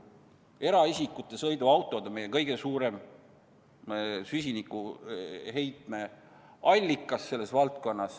Eraisikute sõiduautod on meie kõige suurem süsiniku heitme allikas.